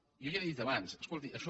jo ja li ho he dit abans escolti això